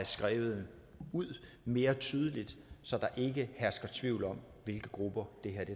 skrive ud mere tydeligt så der ikke hersker tvivl om hvilke grupper det her